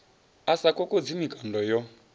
a sa kokodzi mikando yo